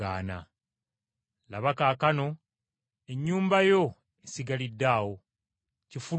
Laba kaakano ennyumba yo esigalidde awo, kifulukwa.